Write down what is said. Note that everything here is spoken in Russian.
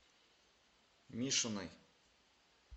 мишиной